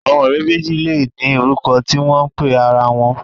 Àwọn ọ̀rẹ́ méjì lè ní orúkọ tí wọ́n ń pe ara wọn